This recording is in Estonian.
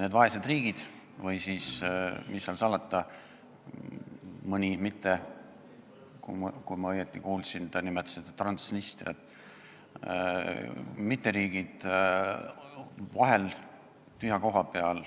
Need vaesed riigid või, mis seal salata, ka mõned mitteriigid – kui ma õigesti kuulsin, siis te nimetasite Transnistriat – suudavad vahel tühja koha peal